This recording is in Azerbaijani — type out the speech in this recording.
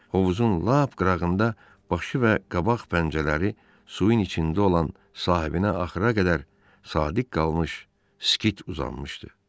Hovuzun lap qırağında başı və qabaq pəncələri suyun içində olan sahibinə axıra qədər sadiq qalmış skit uzanmışdı.